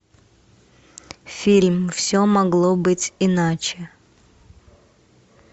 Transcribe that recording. фильм все могло быть иначе